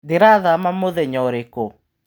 Ndĩrathama mũthenya ũrĩkũ?